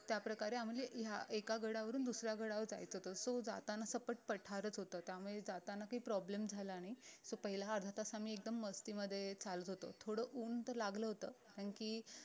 त्याप्रकारे ह्या एका गडावरून दुसऱ्या गडावर जायचं होत so जाताना सपाट पठारच होतं त्यामुळे जाताना काही problem झाला नाही so पहिल्या अर्धा तास आम्ही एकदम मस्तीमध्ये चालत होतो थोडं ऊन तर लागलं होत कारण की